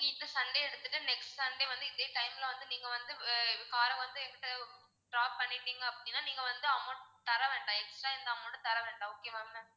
நீங்க இந்த sunday எடுத்துட்டு sunday வந்து இதே time ல வந்து நீங்க வந்து ஆஹ் car அ வந்து எங்ககிட்ட drop பண்ணிட்டீங்க அப்படின்னா நீங்க வந்து amount தர வேண்டாம் extra எந்த amount உம் தர வேண்டாம் okay வா ma'am